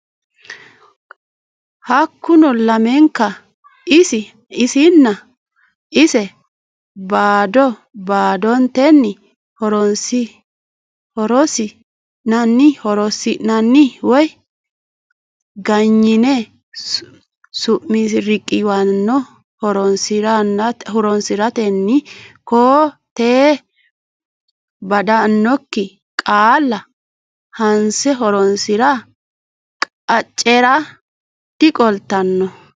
Hakkuno lamenka isi nna ise bado badotenni horonsi nanni woy ganyine sumi riqiwaano horonsi rantenni koo tee baddannokki qaalla hanse horonsi ra qaccera diqoltanno.